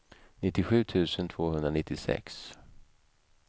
nittiosju tusen tvåhundranittiosex